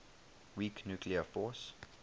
weak nuclear force